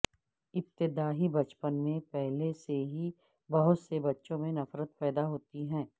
ابتدائی بچپن میں پہلے سے ہی بہت سے بچوں میں نفرت پیدا ہوتی ہے